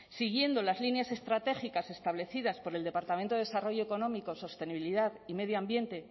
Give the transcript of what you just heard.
siguiendo las líneas estratégicas establecidas por el departamento de desarrollo económico sostenibilidad y medio ambiente